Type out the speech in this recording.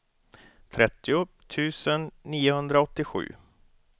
trettio tusen niohundraåttiosju